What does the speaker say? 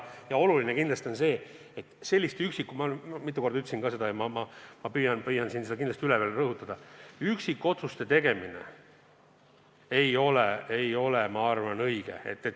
Ja oluline kindlasti on ka see, et selliste üksikute – ma juba mitu korda ütlesin seda ja rõhutan kindlasti üle – otsuste tegemine ei ole minu arvates õige.